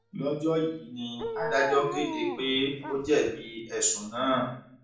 lọjọ yìí ni adájọ kéde pé ó jẹbi ẹsùn náà